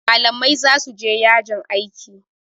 malamai za su je yajin aiki